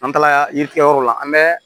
An taara yirikɛyɔrɔ la an bɛ